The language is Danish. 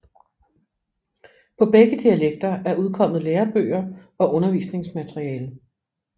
På begge dialekter er udkommet lærebøger og undervisningsmateriale